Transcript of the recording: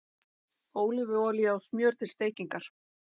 Ólífuolía og smjör til steikingar